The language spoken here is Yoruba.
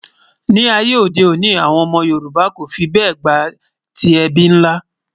ní àyè òde òni, àwọn ómó yorùbà kò fí bè gbátí ẹbí nlá